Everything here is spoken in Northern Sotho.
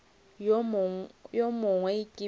wo mongwe ke be ke